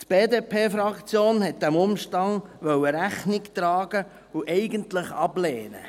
Die BDP-Fraktion wollte diesem Umstand Rechnung tragen und wollte eigentlich ablehnen.